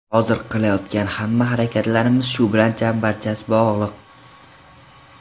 Hozir qilayotgan hamma harakatlarimiz shu bilan chambarchas bog‘liq.